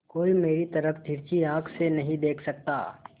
कोई मेरी तरफ तिरछी आँख से नहीं देख सकता